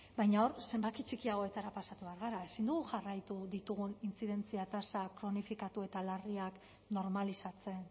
baina hor zenbaki txikiagoetara pasatu behar gara ezin dugu jarraitu ditugun intzidentzia tasa kronifikatu eta larriak normalizatzen